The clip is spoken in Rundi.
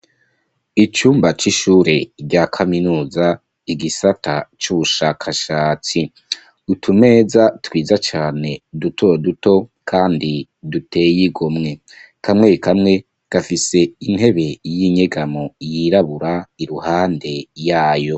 Icumba c'ishure rya kaminuza igisata c'ubushakashatsi. Utumeza twiza cane dutoduto duteye igomwe. Kamwe kamwe gafise intebe y'inyegamo iruhande yayo.